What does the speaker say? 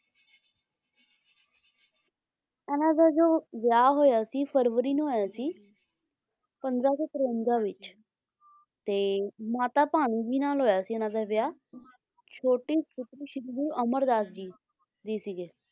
ਇਹਨਾਂ ਦਾ ਜੋ ਵਿਆਹ ਹੋਇਆ ਸੀ ਫਰਵਰੀ ਨੂੰ ਹੋਇਆ ਸੀ ਪੰਦਰਾਂ ਸੌ ਤਰਵੰਜਾਂ ਵਿੱਚ ਤੇ ਮਾਤਾ ਭਾਨੀ ਜੀ ਨਾਲ ਹੋਇਆ ਸੀ ਇੰਨਾ ਦਾ ਵਿਆਹ ਛੋਟੇ ਪੁੱਤਰ ਸ਼੍ਰੀ ਗੁਰੂ ਅਮਰਦਾਸ ਜੀ ਜੀ ਸੀਗੇ,